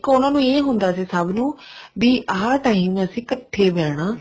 ਦੇਖੋ ਉਹਨਾ ਨੂੰ ਇਹ ਹੁੰਦਾ ਸੀ ਸਭ ਨੂੰ ਵੀ ਇਹ time ਕੱਠੇ ਬਹਿਣਾ